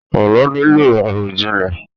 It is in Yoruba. Àlọ́ nílò àròjinlẹ̀